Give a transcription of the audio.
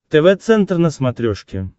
тв центр на смотрешке